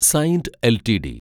Saint LTD